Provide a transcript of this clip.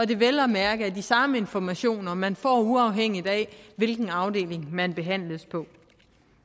det vel at mærke er de samme informationer man får uafhængigt af hvilken afdeling man behandles på